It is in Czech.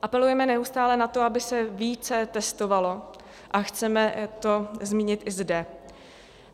Apelujeme neustále na to, aby se více testovalo, a chceme to zmínit i zde.